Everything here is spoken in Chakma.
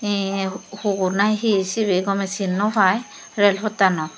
eye hugur na hi sibey gomey sin nw pai rel pottanot.